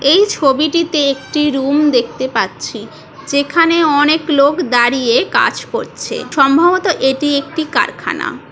এই ছবি টিতে একটি রুম দেখতে পাচ্ছি যেখানে অনেক লোক দাঁড়িয়ে কাজ করছে সম্ভবত এটি একটি কারখানা ।